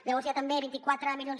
llavors hi ha també vint quatre milions